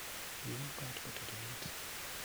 lun koot kotililit